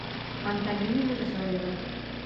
антонина мирзоева